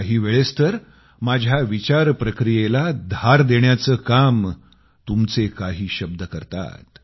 काहीवेळेस तर माझ्या विचार प्रक्रियेला धार देण्याचं काम तुमचे काही शब्द करतात